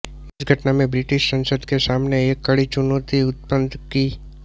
इस घटना में ब्रिटिश संसद के सामने एक कड़ी चुनौती उत्पन्न की